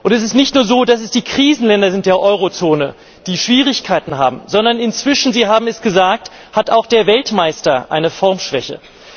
Es ist nicht nur so, dass es die Krisenländer der Eurozone sind, die Schwierigkeiten haben, sondern inzwischen Sie haben es gesagt hat auch der Weltmeister eine Formschwäche.